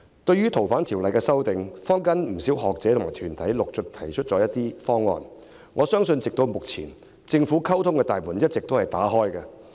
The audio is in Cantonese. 對於《逃犯條例》的修訂，坊間不少學者和團體陸續提出了一些方案，我相信至今政府的溝通大門也是一直打開的。